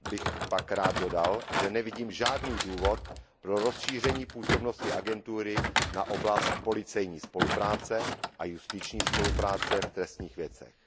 bych pak rád dodal, že nevidím žádný důvod pro rozšíření působnosti agentury na oblast policejní spolupráce a justiční spolupráce v trestních věcech.